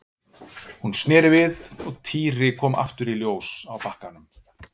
Hún sneri við og Týri kom aftur í ljós á bakkanum.